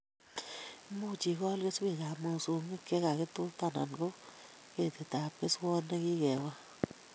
Imuchi ikol keswekab mosongik che kakitutan anan ko ketitab keswot ne kikekol